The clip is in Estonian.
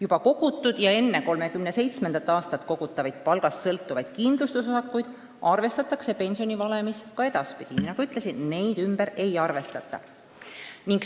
Juba kogutud ja enne 2037. aastat kogutavaid palgast sõltuvaid kindlustusosakuid arvestatakse pensionivalemis ka edaspidi: nagu ma ütlesin, neid ümber ei arvestata.